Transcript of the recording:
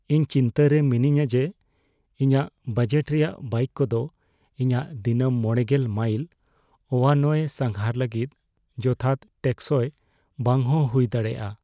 ᱤᱧ ᱪᱤᱱᱛᱟᱹᱨᱮ ᱢᱤᱱᱟᱹᱧᱟ ᱡᱮ ᱤᱧᱟᱹᱜ ᱵᱟᱡᱮᱴ ᱨᱮᱭᱟᱜ ᱵᱟᱭᱤᱠ ᱠᱚᱫᱚ ᱤᱧᱟᱹᱜ ᱫᱤᱱᱟᱹᱢ ᱕᱐ ᱢᱟᱭᱤᱞ ᱳᱣᱟᱱᱳᱭᱮ ᱥᱟᱸᱜᱷᱟᱨ ᱞᱟᱹᱜᱤᱫ ᱡᱚᱛᱷᱟᱛ ᱴᱮᱠᱥᱚᱭ ᱵᱟᱝᱦᱚᱸ ᱦᱩᱭ ᱫᱟᱲᱮᱭᱟᱜᱼᱟ